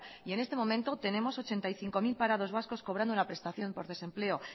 y en este momento tenemos ochenta y cinco mil parados vascos cobrando una prestación por desempleo